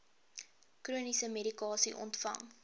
chroniese medikasie ontvang